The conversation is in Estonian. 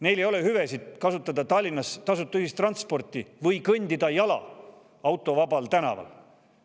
Neil ei ole seda hüve, et kasutada Tallinnas tasuta ühistransporti või kõndida jala autovabal tänaval.